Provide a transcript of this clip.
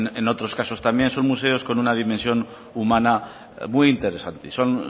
en otros casos también son museos con una dimensión humana muy interesante son